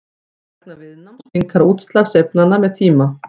vegna viðnáms minnkar útslag sveiflnanna með tíma